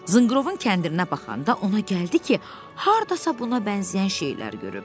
Zınqrovun kəndirinə baxanda ona gəldi ki, hardasa buna bənzəyən şeylər görüb.